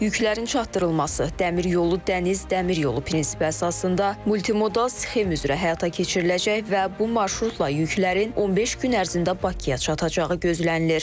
Yüklərin çatdırılması dəmir yolu, dəniz, dəmir yolu prinsipi əsasında multimodal sxem üzrə həyata keçiriləcək və bu marşrutla yüklərin 15 gün ərzində Bakıya çatacağı gözlənilir.